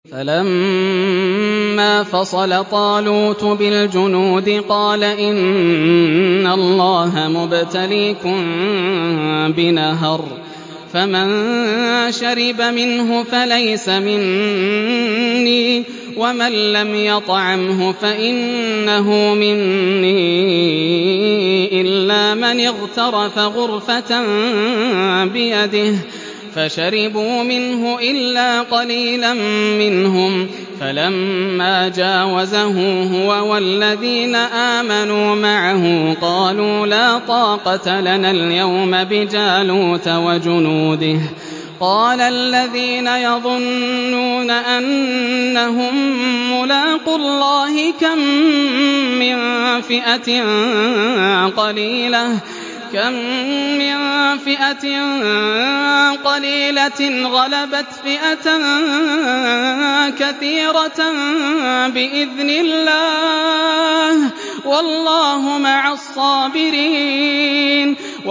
فَلَمَّا فَصَلَ طَالُوتُ بِالْجُنُودِ قَالَ إِنَّ اللَّهَ مُبْتَلِيكُم بِنَهَرٍ فَمَن شَرِبَ مِنْهُ فَلَيْسَ مِنِّي وَمَن لَّمْ يَطْعَمْهُ فَإِنَّهُ مِنِّي إِلَّا مَنِ اغْتَرَفَ غُرْفَةً بِيَدِهِ ۚ فَشَرِبُوا مِنْهُ إِلَّا قَلِيلًا مِّنْهُمْ ۚ فَلَمَّا جَاوَزَهُ هُوَ وَالَّذِينَ آمَنُوا مَعَهُ قَالُوا لَا طَاقَةَ لَنَا الْيَوْمَ بِجَالُوتَ وَجُنُودِهِ ۚ قَالَ الَّذِينَ يَظُنُّونَ أَنَّهُم مُّلَاقُو اللَّهِ كَم مِّن فِئَةٍ قَلِيلَةٍ غَلَبَتْ فِئَةً كَثِيرَةً بِإِذْنِ اللَّهِ ۗ وَاللَّهُ مَعَ الصَّابِرِينَ